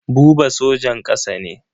Buba sojan ƙasa ne.